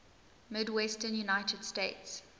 midwestern united states